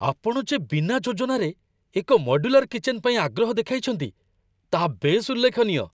ଆପଣ ଯେ ବିନା ଯୋଜନାରେ ଏକ ମଡ୍ୟୁଲାର କିଚେନ ପାଇଁ ଆଗ୍ରହ ଦେଖାଇଛନ୍ତି, ତାହା ବେଶ୍ ଉଲ୍ଲେଖନୀୟ।